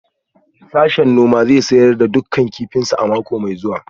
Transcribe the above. Sashen noma zai sayar da dukkan kifinsu a mako mai zuwa